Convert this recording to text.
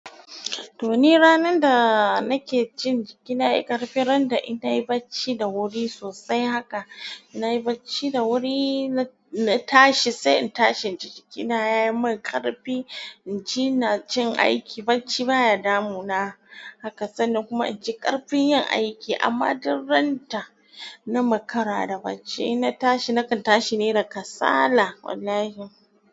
To ni ranar da nake cin jiki na yi ƙarfin randa ina yi bacci da wuri sosai haka. Na yi bacci da wuri na tashi sai in tashi jinji jikina ya yi min ƙarfi. Inji inajin aiki bacci baya damuna haka sannan kuma inji ƙarfin yin aiki amma durranta na makara da bacci ina tashi nakan tashi ne da kasala wallahi.